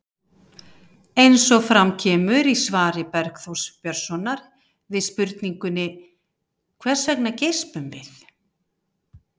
Eins og fram kemur í svari Bergþórs Björnssonar við spurningunni Hvers vegna geispum við?